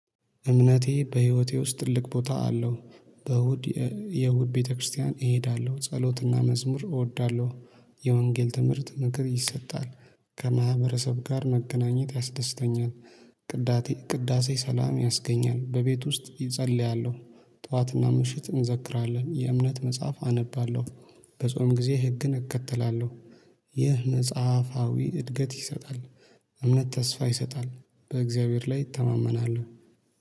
እምነቴ በህይወቴ ውስጥ ትልቅ ቦታ አለው። በእሁድ የእሁድ ቤተክርስቲያን እሄዳለሁ ጸሎትና መዝሙር እወዳለሁ። የወንጌል ትምህርት ምክር ይሰጣል። ከማህበረሰብ ጋር መገናኘት ያስደስተኛል። ቅዳቴ ቅዳሴ ሥላም ያስገኛል በቤት ውስጥ እጸልያለሁ። ጠዋትና ምሽት እንዘክራለን የእምነት መጽሐፍ አነባለሁ። በጾም ጊዜ ህግን እከተላለሁ። ይህ መጽሐፋዊ እድገት ይሰጣል። እምነት ተስፋ ይሰጣል። በእግዚአብሔር ላይ ይተማመናሉ